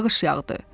Yağış yağdı.